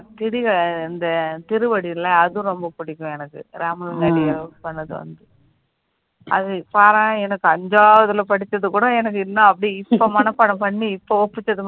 திதிக்க இந்த திருவடியில அதுவும் ரொம்ப பிடிக்கும் எனக்கு ராமன் அடிகள் பண்ணது வந்து அது பாராயணம் எனக்கு ஐந்தாவதுல படிச்சது கூட எனக்குன் இன்னும் அப்படியோ இப்போ மனப்பாடம் பண்ணி இப்போ ஒப்பிட்டது